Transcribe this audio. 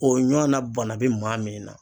O ɲɔana bana be maa min na